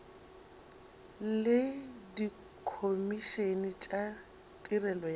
le dikhomišene tša tirelo ya